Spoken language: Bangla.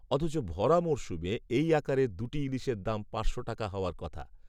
অথচ ভরা মরসুমে এই আকারের দু’টি ইলিশের দাম পাঁচশো টাকা হওয়ার কথা!